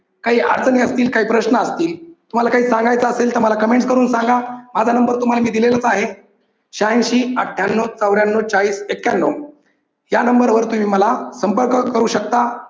काही अडचणी असतील, काही प्रश्न असतील तुम्हाला काही सांगायचं असेल तर मला comments करून सांगा. माझा number मी तुम्हाला दिलेलाच आहे. श्यांशी अठ्ठ्यानौ चौऱ्यानौ चाळीस एक्यान्नौ या number वर तुम्ही मला संपर्क करू शकता.